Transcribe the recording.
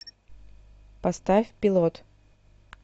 поставь пилот